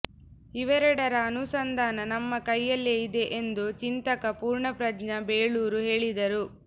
ಇವೆರಡರ ಅನುಸಂಧಾನ ನಮ್ಮ ಕೈಯಲ್ಲೇ ಇದೆ ಎಂದು ಚಿಂತಕ ಪೂರ್ಣಪ್ರಜ್ಞ ಬೇಳೂರು ಹೇಳಿದರು